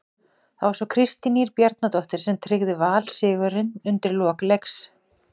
Það var svo Kristín Ýr Bjarnadóttir sem tryggði Val sigurinn undir lok leiks.